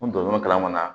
N donn'o kalan kɔnɔ na